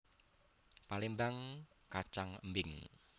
Palémbang kacang embing